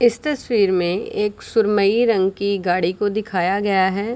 इस तस्वीर में एक सुरमई रंग की गाड़ी को दिखाया गया है।